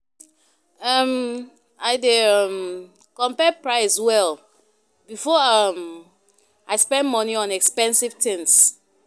um I dey um compare price well before um I spend money on expensive things.